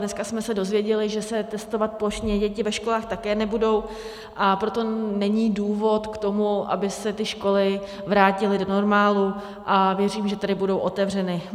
Dneska jsme se dozvěděli, že se testovat plošně děti ve školách také nebudou, a proto není důvod k tomu, aby se ty školy vrátily do normálu, a věřím, že tedy budou otevřeny.